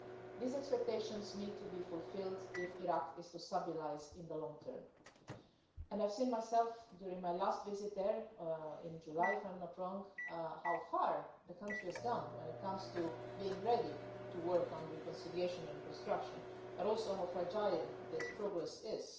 These expectations need to be fulfilled if Iraq is to stabilise in the long term, and I've seen myself during my last visit there in July, if I'm not wrong how far the country has come when it comes to being ready to work on reconciliation and reconstruction, but also how fragile this progress is.